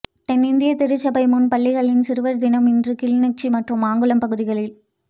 தென்னிந்திய திருச்சபை முன்பள்ளிகளின் சிறுவர் தினம் இன்று கிளிநொச்சி மற்றும் மாங்குளம் பகுதிகளில்